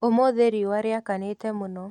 ũmũthĩ riũa rĩakanĩte mũno